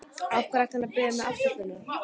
Af hverju ætti hann að biðja mig afsökunar?